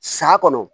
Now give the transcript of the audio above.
Saya kɔnɔ